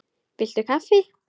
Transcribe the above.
Viltu kaffi?